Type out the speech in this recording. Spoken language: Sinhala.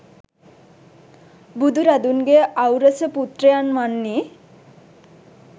බුදුරදුන්ගේ ඖරස පුත්‍රයන් වන්නේ